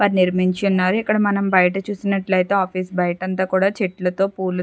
వారు నిర్మించి యున్నారు ఇక్కడ మనం బయట చూసినట్లయితే ఆఫీస్ బయట అంతా కూడా చెట్లతో పూల --